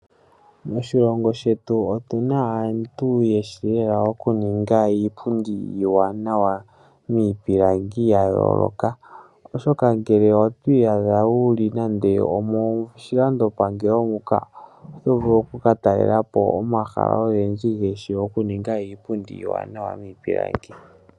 Moshilongo shetu otu na aantu ye shi lela okuninga iipundi iiwanawa miipilangi ya yooloka. Uuna to iyadha wu li nando omoshilandopangelo muka, oto vulu oku ka talela po omahala ogendji ge shi okuninga iipundi iiwanawa miipilangi.